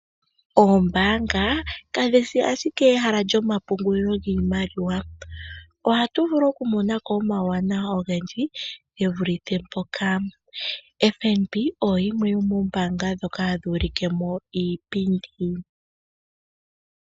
Oombaanga kadhi shi ashike ehala lyomapungulilo giimaliwa. Ohatu vulu okumona ko omauwanawa ogendji ge vulithe mpoka. FNB oyo yimwe yomoombaanga ndhoka hadhi ulike mo iipindi.